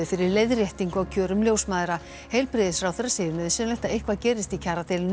fyrir leiðréttingu á kjörum ljósmæðra heilbrigðisráherra segir nauðsynlegt að eitthvað gerist í kjaradeilu